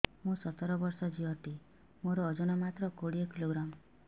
ମୁଁ ସତର ବର୍ଷ ଝିଅ ଟେ ମୋର ଓଜନ ମାତ୍ର କୋଡ଼ିଏ କିଲୋଗ୍ରାମ